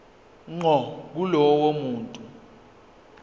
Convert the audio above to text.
ngqo kulowo muntu